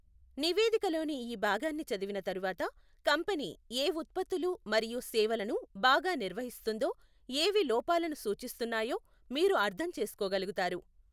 నివేదికలోని ఈ భాగాన్ని చదివిన తరువాత, కంపెనీ ఏ ఉత్పత్తులు మరియు సేవలను బాగా నిర్వహిస్తోందో, ఏవి లోపాలను సూచిస్తున్నాయో మీరు అర్థం చేసుకోగలుగుతారు.